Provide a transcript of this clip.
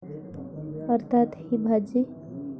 अर्थात, ही भाजी!